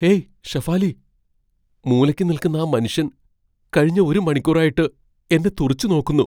Hey Shefali, മൂലയ്ക്ക് നിൽക്കുന്ന ആ മനുഷ്യൻ കഴിഞ്ഞ ഒരു മണിക്കൂറായിട്ട് എന്നെ തുറിച്ചുനോക്കുന്നു.